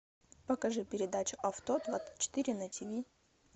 покажи передачу авто двадцать четыре на тиви